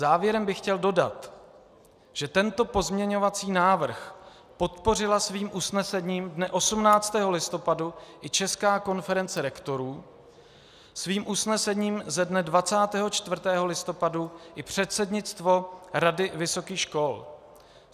Závěrem bych chtěl dodat, že tento pozměňovací návrh podpořila svým usnesením dne 18. listopadu i Česká konference rektorů, svým usnesením ze dne 24. listopadu i předsednictvo Rady vysokých škol.